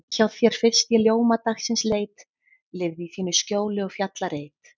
Hjá þér fyrst ég ljóma dagsins leit, lifði í þínu skjóli og fjallareit.